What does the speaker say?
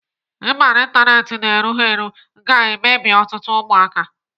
Ịba n'Ịntanet na-erughị ga-emebi ọtụtụ ụmụaka.